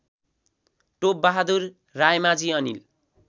Top Bahadur Raimajhi Anil